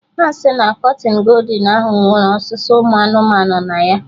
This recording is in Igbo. Ha si na kọtịnụ goldin ahụ nwere osuse ụmụ anụmanụ na ya